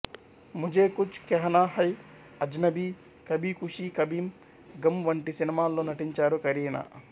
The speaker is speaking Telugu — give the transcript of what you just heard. ముఝే కుచ్ కెహనా హై అజ్నబీ కభీ ఖుషీ కభీ గం వంటి సినిమాల్లో నటించారు కరీనా